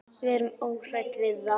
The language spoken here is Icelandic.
Við erum óhrædd við það.